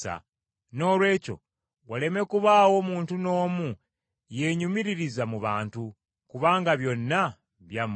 Noolwekyo waleme kubaawo muntu n’omu yeenyumiririza mu bantu, kubanga byonna byammwe,